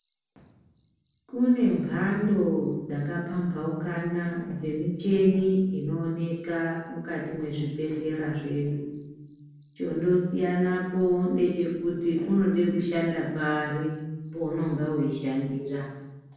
Kune mbando dzakapambaukana dzemicheni inooneka mukati mwezvibhehlera zvedu. Chondosiyanapo ndechekuti unode kushanda pari pounonga weishandira.